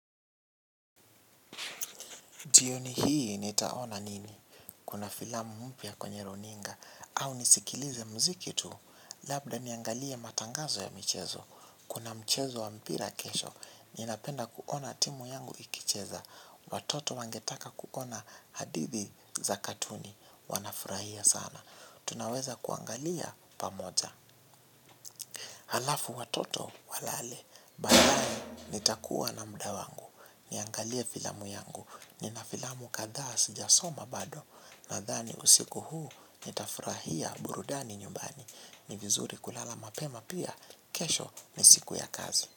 Jioni hii nitaona nini. Kuna filamu mpya kwenye runinga. Au nisikilize mziki tu. Labda niangalie matangazo ya michezo. Kuna mchezo wa mpira kesho. Ninapenda kuona timu yangu ikicheza. Watoto wangetaka kuona hadithi za katuni. Wanafurahia sana. Tunaweza kuangalia pamoja. Halafu watoto walale. Baadaye nitakua na mudawangu. Niangalie filamu yangu. Ninafilamu kadhaasi jasoma bado. Nadhani usiku huu nitafurahia burudani nyumbani. Nivizuri kulala mapema pia. Kesho ni siku ya kazi.